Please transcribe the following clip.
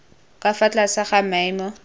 ka fa tlase ga maemo